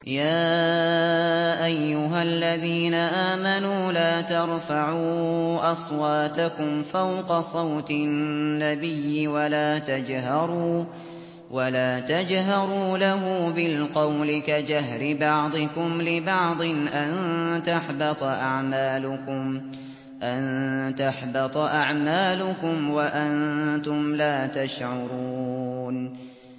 يَا أَيُّهَا الَّذِينَ آمَنُوا لَا تَرْفَعُوا أَصْوَاتَكُمْ فَوْقَ صَوْتِ النَّبِيِّ وَلَا تَجْهَرُوا لَهُ بِالْقَوْلِ كَجَهْرِ بَعْضِكُمْ لِبَعْضٍ أَن تَحْبَطَ أَعْمَالُكُمْ وَأَنتُمْ لَا تَشْعُرُونَ